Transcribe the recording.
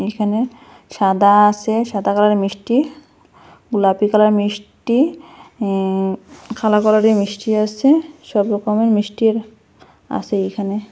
এখানে সাদা আসে সাদা কালারের মিষ্টি গুলাপি কালারের মিষ্টি এ কালো কালারের মিষ্টি আসে সব রকমের মিষ্টি আসে এইখানে।